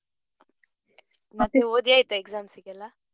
ಮತ್ತೆ ಓದಿ ಆಯ್ತಾ exams ಗೆಲ್ಲ.